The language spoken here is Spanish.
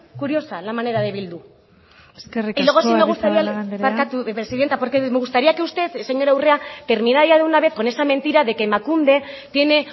curiosa la manera de bildu y luego sí me gustaría eskerrik asko agirrezabala andrea barkatu presidente porque me gustaría que usted señora urrea terminara ya de una vez con esa mentira de que emakunde tiene